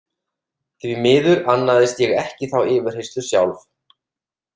Því miður annaðist ég ekki þá yfirheyrslu sjálf.